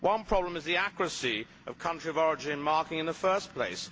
One problem is the accuracy of country of origin marking in the first place.